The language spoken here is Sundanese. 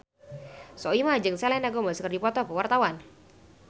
Soimah jeung Selena Gomez keur dipoto ku wartawan